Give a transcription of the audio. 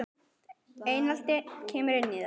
Einelti kemur inn í það.